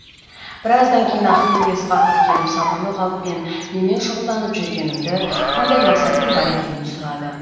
біраздан кейін ахмеди ысқақов келіп сабырлы қалыппен немен шұғылданып жүргенімді қандай мақсатым бар екенін сұрады